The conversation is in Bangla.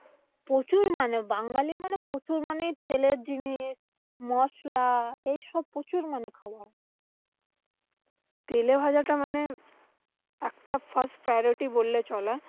প্রচুর মানে বাঙ্গালী মানে প্রচুর মানে তেলের জিনিশ, মসলা এইসব প্রচুর মানে খওয়া। তেলে ভাজাটা মানে একটা frist priority বললে চলে।